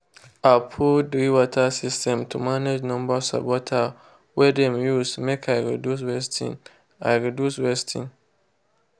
i put drip water system to manage number of water wey dem use make i reduce wasting. i reduce wasting.